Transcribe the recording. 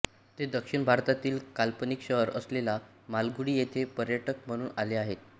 ते दक्षिण भारतातील काल्पनिक शहर असलेल्या मालगुडी येथे पर्यटक म्हणून आले आहेत